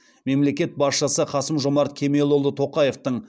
мемлекет басшысы қасым жомарт кемелұлы тоқаевтың